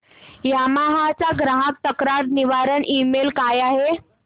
Yamaha चा ग्राहक तक्रार निवारण ईमेल काय आहे